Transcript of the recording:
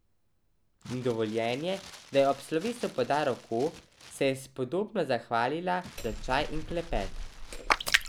In dovoljenje, da ji ob slovesu poda roko, da se je spodobno zahvalila za čaj in klepet.